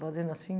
fazendo assim.